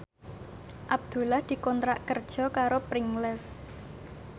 Abdullah dikontrak kerja karo Pringles